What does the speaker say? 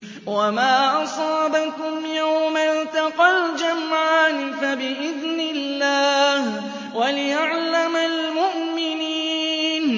وَمَا أَصَابَكُمْ يَوْمَ الْتَقَى الْجَمْعَانِ فَبِإِذْنِ اللَّهِ وَلِيَعْلَمَ الْمُؤْمِنِينَ